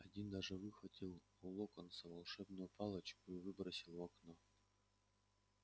один даже выхватил у локонса волшебную палочку и выбросил в окно